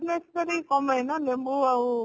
କମଏ ନା ଲେମ୍ବୁ ଆଉ